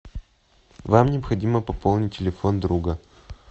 вам необходимо пополнить телефон друга